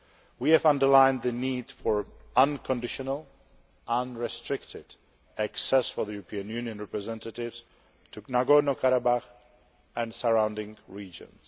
We have underlined the need for unconditional unrestricted access for European Union representatives to Nagorno Karabakh and the surrounding regions.